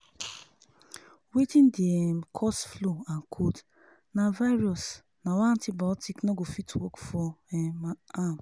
wetin dey um cause flu and cold na virus na y antibiotic no go fit work for um am